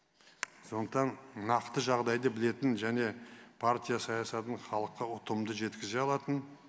сондықтан нақты жағдайды білетін және партия саясатын халыққа ұтымды жеткізе алатын